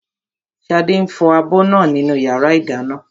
Ṣadé ń fọ abọ́ náà nínú yàrá ìdáná